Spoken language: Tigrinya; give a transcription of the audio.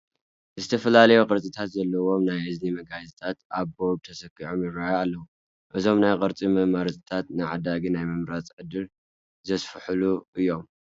ዝተፈላለዩ ቅርፅታት ዘለዉዎ ናይ እዝኒ መጋየፅታት ኣብ ቦርድ ተሰኪዖም ይርአዩ ኣለዉ፡፡ እዞም ናይ ቅርፂ መማረፅታት ንዓዳጊ ናይ ምምራፅ ዕድሉ ዘስፍሑሉ እዮም፡፡